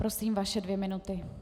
Prosím, vaše dvě minuty.